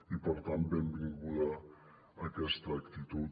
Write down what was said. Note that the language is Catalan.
i per tant benvinguda aquesta actitud